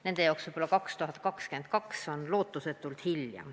Nende jaoks võib-olla 2022 on lootusetult hilja.